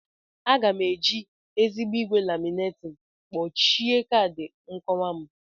Aga m eji ezigbo igwe laminating kpuchie kaadị nkowa m.